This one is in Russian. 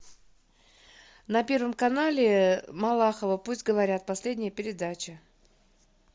на первом канале малахова пусть говорят последняя передача